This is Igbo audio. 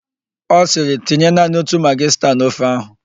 Ọ sịrị, "tinye naanị otu magị sta n'ofe ahụ"!